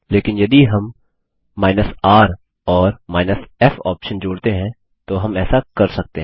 लेकिन यदि हम r और f ऑप्शन जोड़ते हैं तो हम ऐसा कर सकते हैं